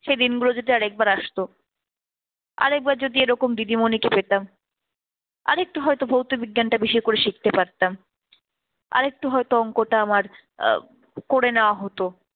সেই দিনগুলো যদি আরেকবার আসতো, আরেকবার যদি এরকম দিদিমণিকে পেতাম, আরেকটু হয়তো ভৌত বিজ্ঞানটা বেশি করে শিখতে পারতাম। আরেকটু হয়তো অংকটা আমার আহ করে নেওয়া হতো।